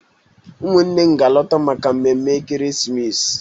Ụmụnne m ga-alọta maka mmemme ekeresimesi